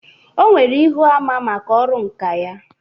O nwere Íhúamá maka ọrụ nkà ya.